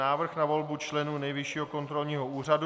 Návrh na volbu členů Nejvyššího kontrolního úřadu